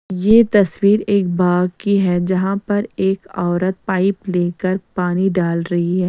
यह तस्वीर एक बाग की है जहां पर एक औरत पाइप लेकर पानी डाल रही है।